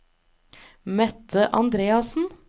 Mette Andreassen